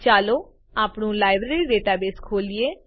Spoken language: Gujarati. ચાલો આપણું લાઈબ્રેરી ડેટાબેઝ ખોલીએ